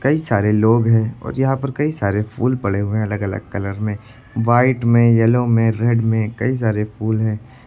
कई सारे लोग हैं और यहां पर कई सारे फूल पड़े हुए हैं अलग अलग कलर में। वाइट में येलो में रेड में कई सारे फूल हैं।